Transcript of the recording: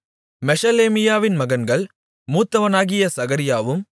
மெஷெலேமியாவின் மகன்கள் மூத்தவனாகிய சகரியாவும்